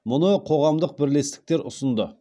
мұны қоғамдық бірлестіктер ұсынды